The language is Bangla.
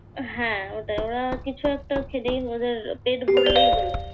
হ্যাঁ ওটাই। ওরা কিছু একটা খেলেই ওদের পেট ভরলেই হলো।